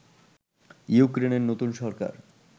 ইউক্রেনের নতুন সরকার